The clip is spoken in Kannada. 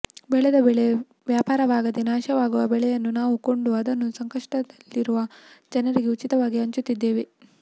ಬೆಳೆದ ಬೆಳೆ ವ್ಯಾಪಾರವಾಗದೇ ನಾಶವಾಗುವ ಬೆಳೆಯನ್ನು ನಾವು ಕೊಂಡು ಅದನ್ನು ಸಂಕಷ್ಟದಲ್ಲಿರುವ ಜನರಿಗೆ ಉಚಿತವಾಗಿ ಹಂಚುತ್ತಿದ್ದೇವೆ